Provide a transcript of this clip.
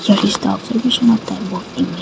that is the obligation of